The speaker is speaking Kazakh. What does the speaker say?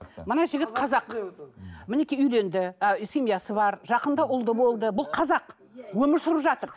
мына жігіт қазақ мінекей үйленді семьясы бар жақында ұлды болды бұл қазақ өмір сүріп жатыр